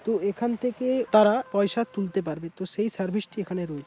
তো এখান থেকে তারা পয়সা তুলতে পারবে তো সেই সার্ভিসটি এখানে রয়ে--